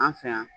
An fɛ yan